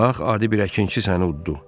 Bax, adi bir əkinçi səni uddu.